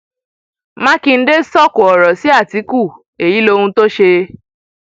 mákindé sọkò ọrọ sí àtìkù èyí lohun tó ṣe